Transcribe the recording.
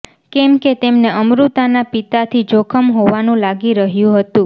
કેમ કે તેમને અમૃતાના પિતાથી જોખમ હોવાનું લાગી રહ્યું હતું